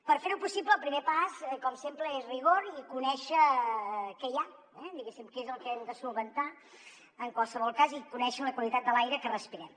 per fer ho possible el primer pas com sempre és rigor i conèixer què hi ha diguéssim què és el que hem de solucionar en qualsevol cas i conèixer la qualitat de l’aire que respirem